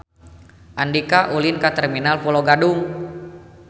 Andika ulin ka Terminal Pulo Gadung